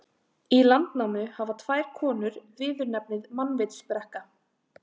Í Landnámu hafa tvær konur viðurnefnið mannvitsbrekka.